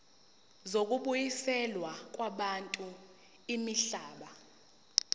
zokubuyiselwa kwabantu imihlaba